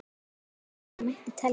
Margt fleira mætti telja.